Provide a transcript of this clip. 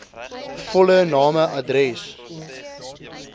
volle name adres